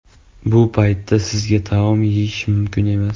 Bu paytda sizga taom yeyish mumkin emas.